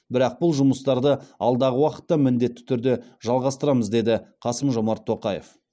бірақ бұл жұмыстарды алдағы уақытта міндетті түрде жалғастырамыз деді қасым жомарт тоқаев